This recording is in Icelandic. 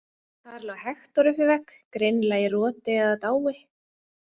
Þar lá Hektor upp við vegg, greinilega í roti eða dái.